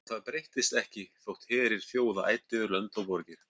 Og það breyttist ekki þótt herir þjóða æddu yfir lönd og borgir.